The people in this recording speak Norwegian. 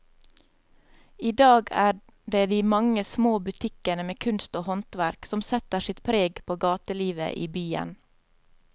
I dag er det de mange små butikkene med kunst og håndverk som setter sitt preg på gatelivet i byen.